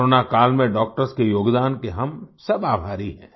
कोरोनाकाल में डॉक्टर्स के योगदान के हम सब आभारी हैं